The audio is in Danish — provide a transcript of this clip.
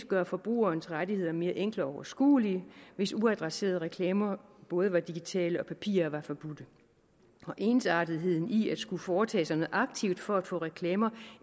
gøre forbrugernes rettigheder mere enkle og overskuelige hvis uadresserede reklamer både digitale og af papir var forbudt ensartetheden i at skulle foretage sig noget aktivt for at få reklamer